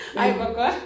Ej hvor godt